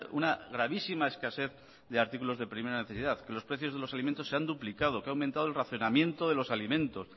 una gravísima escasez de artículos de primera necesidad que los precios de los alimentos se han duplicado que ha aumentado el racionamiento de los alimentos